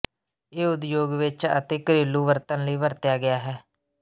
ਇਹ ਉਦਯੋਗ ਵਿਚ ਅਤੇ ਘਰੇਲੂ ਵਰਤਣ ਲਈ ਵਰਤਿਆ ਗਿਆ ਹੈ